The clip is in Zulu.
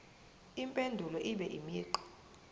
impendulo ibe imigqa